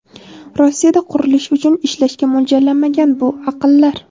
Rossiyada qurilish uchun ishlashga mo‘ljallanmagan bu aqllar.